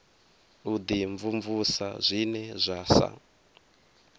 u dimvumvusa zwine zwa sa